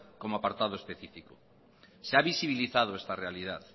como apartado específico se ha visibilizado esta realidad